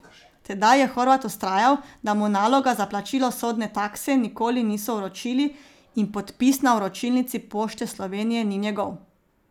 Tedaj je Horvat vztrajal, da mu naloga za plačilo sodne takse nikoli niso vročili in podpis na vročilnici Pošte Slovenije ni njegov.